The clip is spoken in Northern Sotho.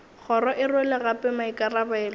kgoro e rwele gape maikarabelo